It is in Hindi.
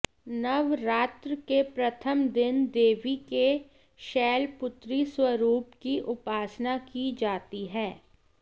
नवरात्र के प्रथम दिन देवी के शैलपुत्री स्वरूप की उपासना की जाती है